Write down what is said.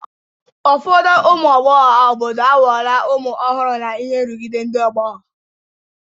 Ụfọdụ ụmụ agbọghọ obodo aghọwo ụmụ ọhụrụ n'ihi nrụgide ndị ọgbọ